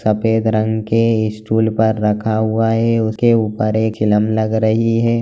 सफेद रंग के स्टूल पर रखा हुआ है उसके ऊपर एक चिलम लग रही हैं।